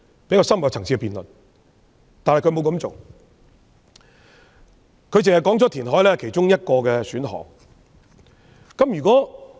然而，她當時卻沒有這樣做，只表示填海是其中一個選項。